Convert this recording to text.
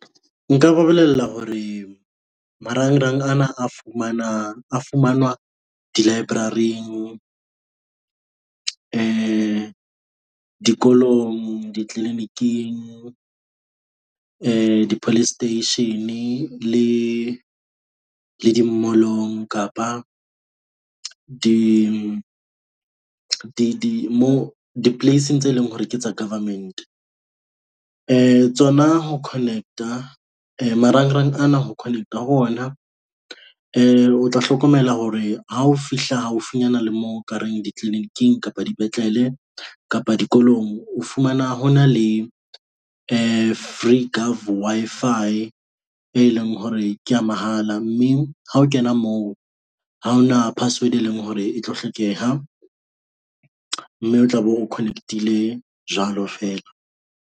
Nka ba bolella hore marangrang ana a fumanwa, a fumanwa di-library-ing, dikolong di-clinic-ing, di-police station le le di mall-ong. Kapa di di di mo di-place-ing tse leng hore ke tsa government. Tsona ho connect-a marangrang ana, ho Connect-a ho ona. O tla hlokomela hore ha o fihla haufinyana le moo nkareng di-clinic-ing kapa dipetlele kapa dikolong. O fumana ho na le free gov Wi-Fi, e leng hore kea mahala mme ha o kena moo, ha ho na password e leng hore e tlo hlokeha mme o tla be o Connect-ile jwalo feela.